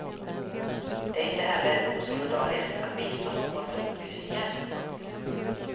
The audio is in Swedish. Det är inte heller osolidariskt att bistå någon med upplysningar. punkt